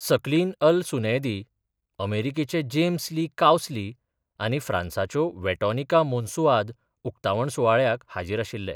सकलीन अल सुनैदी अमेरिकेचे जेम्स ली कावस्ली आनी फ्रांसाच्यो वेटोनिका मोंसुआद उकतावण सुवाळ्याक हाजीर आशिल्ले.